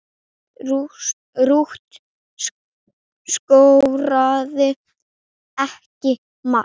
Rut skoraði ekki mark.